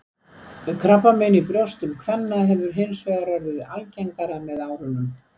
Krabbamein í brjóstum kvenna hefur hins vegar orðið algengara með árunum.